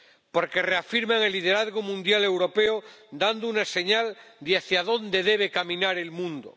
Porque reafirman el liderazgo mundial europeo dando una señal de hacia dónde debe caminar el mundo.